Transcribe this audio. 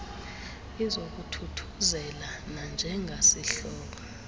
izokuthuthuzela nanje ngasihlobo